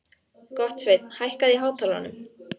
Gottsveinn, hækkaðu í hátalaranum.